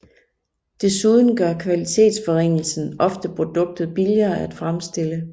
Desuden gør kvalitetsforringelsen ofte produktet billigere at fremstille